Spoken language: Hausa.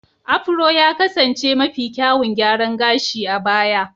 Afuro ya kasance mafi kyawun gyaran gashi a baya.